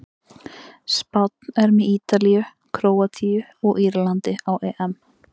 Spánn er með Ítalíu, Króatíu og Írlandi á EM.